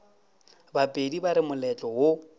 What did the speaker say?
bapedi ba re moletlo wo